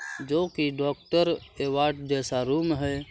जो की doctor ward जैसा रूम है।